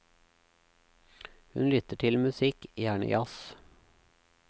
Hun lytter til musikk, gjerne jazz.